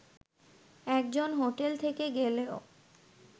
একজন হোটেল থেকে গেলেও